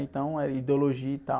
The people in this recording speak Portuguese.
Então, era ideologia e tal.